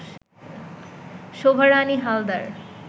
Shobha Rani Haldar